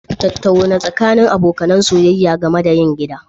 Tattaunawa tsakanin abokan soyayya game da yin gida